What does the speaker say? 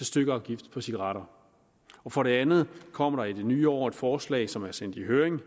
stykafgift på cigaretter for det andet kommer der i det nye år et forslag som er sendt i høring